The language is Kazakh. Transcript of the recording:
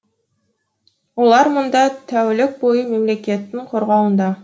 олар мұнда тәулік бойы мемлекеттің қорғауында